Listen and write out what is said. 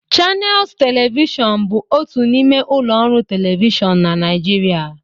Channels Television bụ otu n'ime ụlọ ọrụ telivishọn na Nijiria